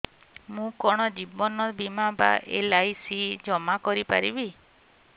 ମୁ କଣ ଜୀବନ ବୀମା ବା ଏଲ୍.ଆଇ.ସି ଜମା କରି ପାରିବି